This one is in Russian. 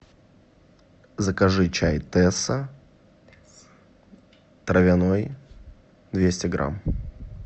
закажи чай тесса травяной двести грамм